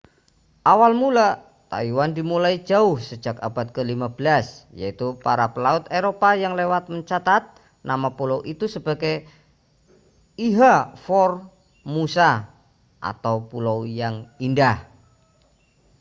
awal mula taiwan dimulai jauh sejak abad ke-15 yaitu para pelaut eropa yang lewat mencatat nama pulau itu sebagai ilha formosa atau pulau yang indah